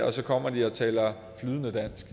og så kommer de og taler flydende dansk